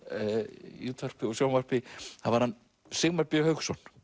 í útvarpi og sjónvarpi það var Sigmar b Hauksson